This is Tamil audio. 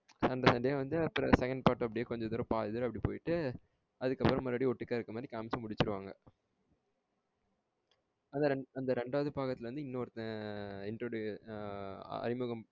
அந்த சண்டைய வந்து அப்புறம் second part அப்டியே கொஞ்சம் தூரம் பாதி தூரம் அப்டியே போட்டு அது அதுக்கு அப்புறம் இந்த மாரி ஓட்டுக்க இருக்குற மாரி காமிச்சு முடிச்சிடுவாங்க அத அந்த ரெண்டாவது பக்கத்துல வந்து இன்னொருத்தன் அறிமுகம்